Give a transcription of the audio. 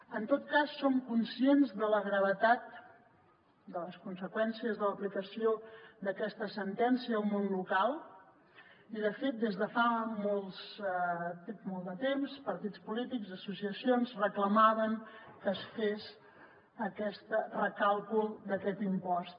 en tot cas som conscients de la gravetat de les conseqüències de l’aplicació d’aquesta sentència al món local i de fet des de fa molt de temps partits polítics associacions reclamaven que es fes aquest recàlcul d’aquest impost